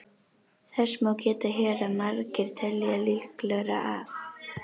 Þess má geta hér að margir telja líklegra að